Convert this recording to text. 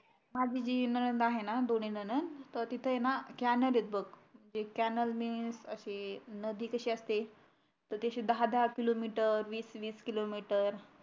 माझी जी नणद आहे ना दोन्ही नणद त तिथ कॅनल आहे बघ कॅनल नदी कशी असते तशी दहा दहा किलोमीटर वीस वीस किलोमीटर